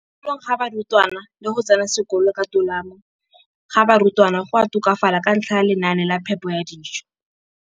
kolong ga barutwana le go tsena sekolo ka tolamo ga barutwana go a tokafala ka ntlha ya lenaane la phepo ya dijo.